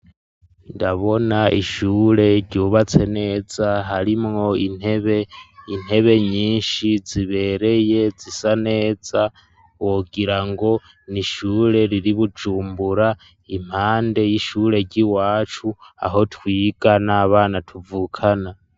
Ndabona ishure ryubatse neza, harimwo intebe ,intebe nyinshi zibereye zisa neza wogira ngo n'ishure riri Bujumbura ,impande y'ishure ry'i wacu aho twiga n'abana tuvukana.